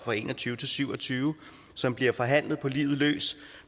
og en og tyve til syv og tyve som bliver forhandlet på livet løs